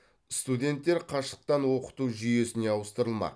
студенттер қашықтан оқыту жүйесіне ауыстырылмақ